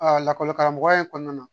lakɔli karamɔgɔya in kɔnɔna na